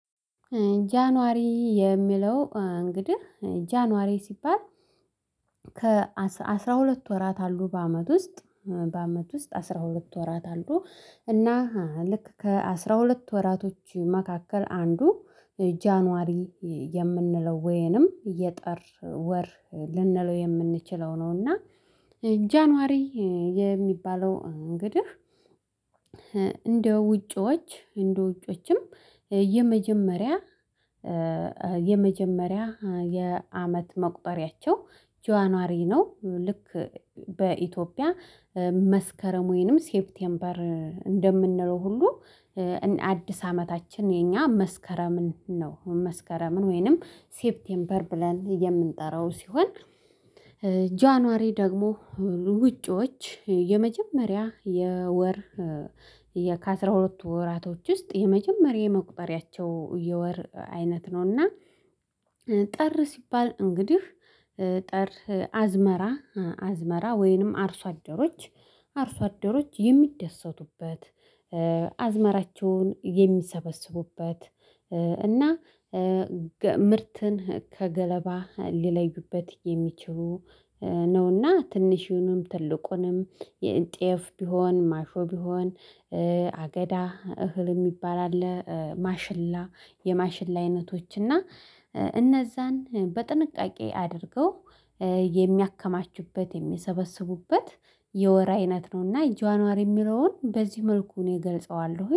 ጃንዋሪ የሚለው እንግዲህ ጃንዋሪ ሲባል ከአሥራ ሁለት ወራት አሉ በአመት ውስጥ። በአመት ውስጥ አስራ ሁለት ወራት አሉ እና ልክ ከአስራ ሁለት ወራቶች መካከል አንዱ ጃንዋሪ የምንለው ወይንም የጥር ወር ልንለው የምንችለው ነው። እና ጃንዋሪ የሚባለው እንግዲህ እንደ ውጪዎች እንደ ውጪዎችም የመጀመሪያ የመጀመሪያ የአመት መቁጠሪያቸው ጃንዋሪ ነው። ልክ በኢትዮጵያ መስከረም ወይንም ሴፕቴምበር እንደምንለው ሁሉ አዲስ አመታችን የኛ መስከረምን ነው መስከረምን ወይንም ሴፕቴምበር ብለን የምንጠራው ሲሆን። ጃንዋሪ ደግሞ ውጪዎች የመጀመሪያ የወር ከአሥራ ሁለት ወራቶች ውስጥ የመጀመሪያ የመቁጠሪያቸው የወር አይነት ነውና። ጥር ሲባል እንግዲህ ጥር አዝመራ አዝመራ ወይንም አርሶ አደሮች አርሶ አደሮች የሚደሰቱበት አዝመራቸውን የሚሰበስቡበት እና ምርትን ከገለባ ሊለዩበት የሚችሉ ነውና። ትንሹንም ትልቁንም ጤፍ ቢሆን ማሾ ቢሆን አገዳ እህል የሚባል አለ ማሽላ የማሽላ አይነቶች እና እነዛን በጥንቃቄ አድርገው የሚያከማቹበት የሚሰበስቡበት የወር አይነት ነውና። ጃንዋሪ የሚለውን በዚህ መልኩ እኔ እገልጸዋለሁ